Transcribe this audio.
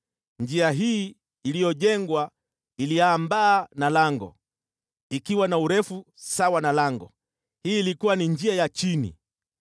Njia hii iliyojengwa iliambaa na lango, ikiwa na urefu sawa na lango, hii ilikuwa ni njia ya chini.